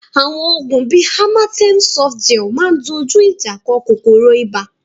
Àwọn oògùn bí Amatem Softgel máa ń dojú ìjà kọ kòkòrò ibà